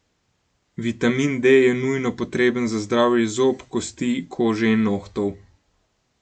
Vitamin D je nujno potreben za zdravje zob, kosti, kože in nohtov.